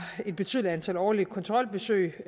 et betydeligt antal årlige kontrolbesøg